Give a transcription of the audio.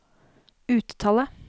uttale